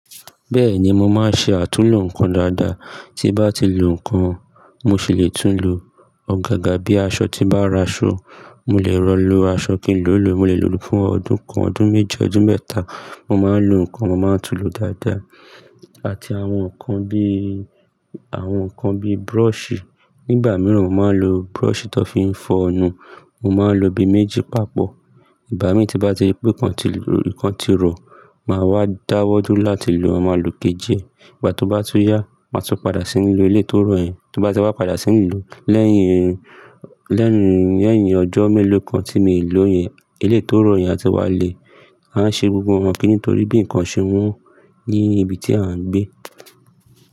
Bẹ́ẹ̀ni, mo máa ń ṣe àtúnlo nǹkan dáadáa. Tí bá ti lo nǹkan, mo sì lè tún lo. Ọ̀gágà bí aṣọ tí n bá ra aṣò, mo lè rọ̀ lo, aṣọ kìí lò lò, mo lè lò lọ fún ọdún kan, ọdún meji, ọdún mẹ́ta. Mo máa ń lo nǹkan, mo máa tún lo dáadáa. Àti àwọn nkan bí, àwọn nkan bí brush. Nígbà mìíràn, mo máa ń lo brush ti won fi ń fọnu, mo máa ń lo bii méjì papọ̀. Ìgbá mi tí n bá ti wípé ikan ti rọ, màá wá dáwọ́dúro láti lò, màá ma lo ikejì e. Ìgbà tó bá tún yá, màá tún padà ṣí ń lo eléyii to ro yẹn. Ti n bá ti wá padà ṣí ń lò ó, lẹ́yìn, lẹ́yìn, lẹ́yìn ọjọ́ mélòó kan tí mii lo yẹn, eléyii to rọ yẹn á ti wá le. Mo maa n ṣe gbogbo àwọn kini yii nítorí bí nkan ṣe won ní ibi tí a ń gbé.